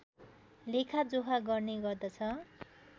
लेखा जोखा गर्ने गर्दछ